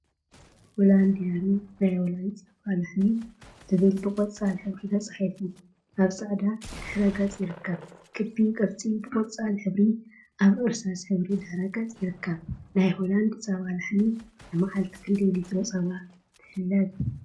ሆላንድ ዲያሪ/ናይ ሆላንድ ፀባ ላሕሚ/ ዝብል ብቆፃል ሕብሪ ተፃሒፉ አብ ፃዕዳ ድሕረ ገፅ ይርከብ፡፡ ክቢ ቅርፂ ብቆፃል ሕብሪ አብ እርሳስ ሕብሪ ድሕረ ገፅ ይርከብ፡፡ ናይ ሆላንደ ፀባ ላሕሚ ንማዓልቲ ክንደይ ሊትሮ ፀባ ትሕለብ?